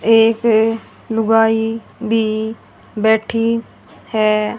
एक लुगाई भी बैठी है।